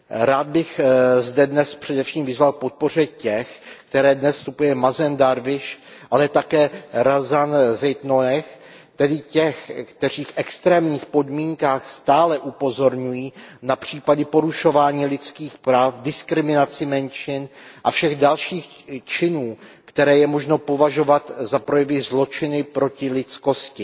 Rád bych zde dnes především vyzval k podpoře těch, které dnes v naší rezoluci zastupuje Mázin Darwíš, ale také Razan Zaituníová, tedy těch, kteří v extrémních podmínkách stále upozorňují na případy porušování lidských práv, diskriminaci menšin a všechny další činy, které je možno považovat za projevy zločinů proti lidskosti.